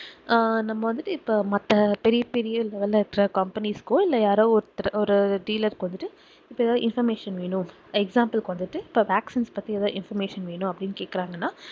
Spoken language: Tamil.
அஹ் நம்ம வந்துட்டு இப்போ மத்த பெரிய பெரிய level ல இருக்குற companies கோ இல்ல யாரோ ஒருத்தர் ஒரு dealer க்கு வந்துட்டு இப்போ ஏதாவது information வேணும் example கு வந்துட்டு இப்போ vaccines பத்தி ஏதாவது information வேணும் அப்படின்னு கேக்கறாங்கன்னா